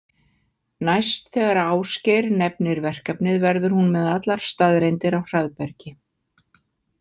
Næst þegar Ásgeir nefnir verkefnið verður hún með allar staðreyndir á hraðbergi.